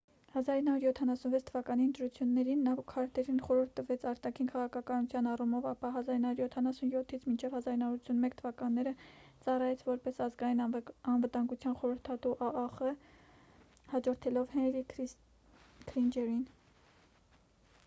1976 թվականի ընտրություններին նա քարտերին խորհուրդ տվեց արտաքին քաղաքականության առումով ապա 1977-ից մինչև 1981 թվականները ծառայեց որպես ազգային անվտանգության խորհրդատու աախ՝ հաջորդելով հենրի քիսինջերին։